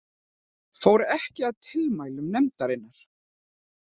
Fór ekki að tilmælum nefndarinnar